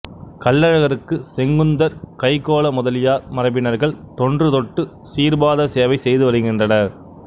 கள்ளழகருக்கு செங்குந்தர் கைக்கோள முதலியார் மரபினர்கள் தொன்று தொட்டு சீர்பாத சேவை செய்து வருகின்றனர்